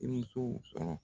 I musow sɔrɔ